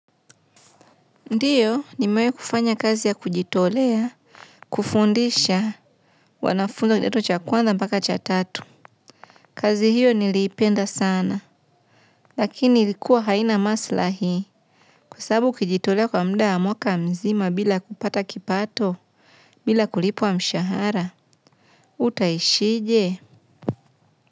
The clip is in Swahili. Ndiyo nimewahi kufanya kazi ya kujitolea kufundisha wanafunzi wa kidato cha kwanza mpaka cha tatu kazi hiyo niliipenda sana lakini ilikuwa haina masilahi kwa sababu ukijitolea kwa muda wa mwaka mzima bila kupata kipato bila kulipwa mshahara utaishije?